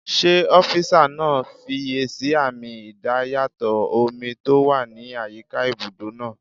Ṣé ọ́físà náà fiyèsí àmì idayàtọ̀ omi tó wà ní àyíká ibùdó náà?